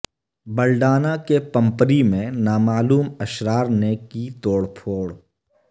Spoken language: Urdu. بلڈانہ کے پمپری میں نامعلوم اشرار نے کی توڑ پھوڑ